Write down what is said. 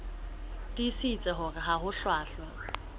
tiisitse hore ha ho hlwahlwa